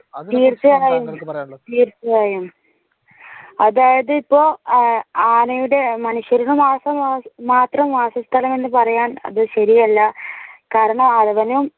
തീർച്ചയായും തീർച്ചയായും. അതായത് ഇപ്പൊ ആനയുടെ മനുഷ്യർക്ക് മാത്രമാക്കിക്കളയുക എന്ന് പറയുന്നത് ശരിയല്ല കാരണം അതിനെ